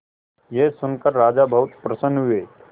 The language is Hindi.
यह सुनकर राजा बहुत प्रसन्न हुए